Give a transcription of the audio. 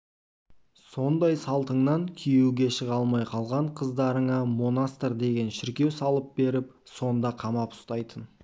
сондай салтыңнан күйеуге шыға алмай қалған қыздарыңа монастырь деген шіркеу салып беріп сонда қамап ұстайтын